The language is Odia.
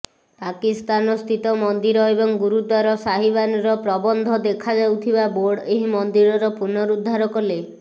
ପାକିସ୍ତାନ ସ୍ଥିତ ମନ୍ଦିର ଏବଂ ଗୁରୁଦ୍ବାର ସାହିବାନର ପ୍ରବନ୍ଧ ଦେଖାଯାଉଥିବା ବୋର୍ଡ ଏହି ମନ୍ଦିରର ପୁନଃରୁଦ୍ଧାର କଲେ